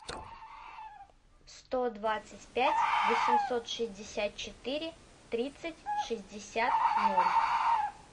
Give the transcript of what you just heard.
сто двадцать пять восемьсот шестьдесят четыре тридцать шестьдесят ноль